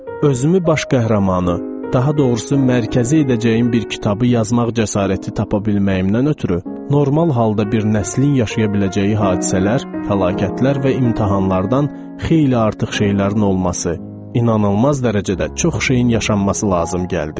Özümü baş qəhrəmanı, daha doğrusu mərkəzi edəcəyim bir kitabı yazmaq cəsarəti tapa bilməyimdən ötrü normal halda bir nəslin yaşaya biləcəyi hadisələr, fəlakətlər və imtahanlardan xeyli artıq şeylərin olması, inanılmaz dərəcədə çox şeyin yaşanması lazım gəldi.